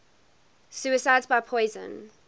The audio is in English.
suicides by poison